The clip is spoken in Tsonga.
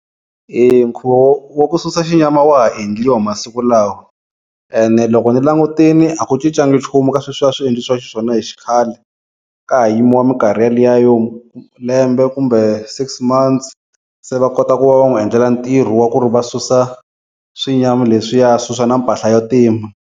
Eya nkhuvo wa wa ku susa xinyama wa ha endliwa masiku lawa ene loko ni langutini a ku cincanga nchumu eka sweswiya a swi endlisiwa xiswona hi xikhale ka ha yimiwa minkarhi yeliya yo lembe kumbe six months se va kota ku va va n'wi endlela ntirho wa ku ri va susa swinyama leswiya a susa na mpahla ya ntima.